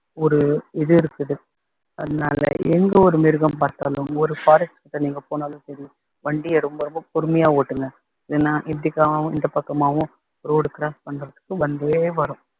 ஒரு இது இருக்குது அதனால எங்க ஒரு மிருகம் பார்த்தாலும் ஒரு forest கிட்ட நீங்க போனாலும் சரி வண்டிய ரொம்ப ரொம்ப பொறுமையா ஓட்டுங்க ஏன்னா இப்படிக்காவும் இந்த பக்கமாவும் road cross பண்றதுக்கு வந்தே வரும்